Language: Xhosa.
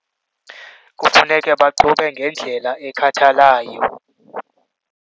Kufuneke baqubhe ngendlela ekhathalayo.